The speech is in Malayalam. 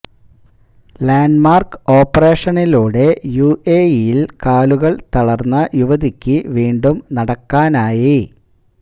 ലാന്ഡ് മാര്ക്ക് ഓപ്പറേഷനിലൂടെ യുഎഇയില് കാലുകള് തളര്ന്ന യുവതിക്ക് വീണ്ടും നടക്കാനായി